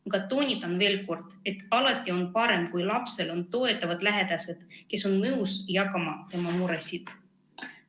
Aga toonitan veel kord, et alati on parem, kui lapsel on toetavad lähedased, kes on nõus jagama tema muresid.